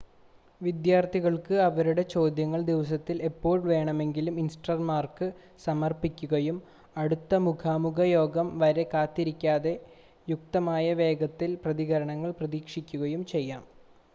വിദ്യാർത്ഥികൾക്ക് അവരുടെ ചോദ്യങ്ങൾ ദിവസത്തിൽ എപ്പോൾ വേണമെങ്കിലും ഇൻസ്ട്രക്ടർമാർക്ക് സമർപ്പിക്കുകയും അടുത്ത മുഖാമുഖ യോഗം വരെ കാത്തിരിക്കാതെ യുക്തമായ വേഗത്തിൽ പ്രതികരണങ്ങൾ പ്രതീക്ഷിക്കുകയും ചെയ്യാം